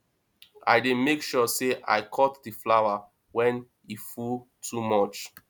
i dey make sure sey i cut di flower wen e full too much